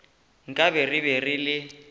nkabe re be re le